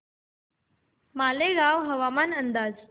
मालेगाव हवामान अंदाज